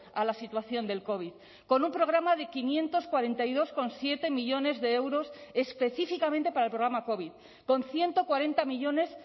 a la situación del covid con un programa de quinientos cuarenta y dos coma siete millónes de euros específicamente para el programa covid con ciento cuarenta millónes